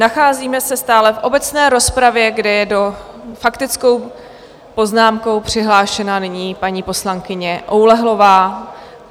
Nacházíme se stále v obecné rozpravě, kde je s faktickou poznámkou přihlášená nyní paní poslankyně Oulehlová.